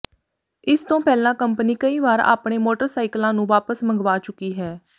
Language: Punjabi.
ਇਸ ਤੋਂ ਪਹਿਲਾਂ ਕੰਪਨੀ ਕਈ ਵਾਰ ਆਪਣੇ ਮੋਟਰਸਾਈਕਲਾਂ ਨੂੰ ਵਾਪਸ ਮੰਗਵਾ ਚੁੱਕੀ ਹੈ